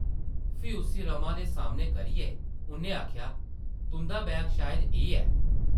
फ्ही उस्सी रमा दे सामनै करियै उʼन्नै आखेआ, ‘‘तुंʼदा बैग शायद एह् ऐ ।’’